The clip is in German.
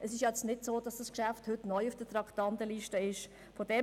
Es ist nicht so, dass dieses Geschäft heute neu auf der Traktandenliste erschienen ist.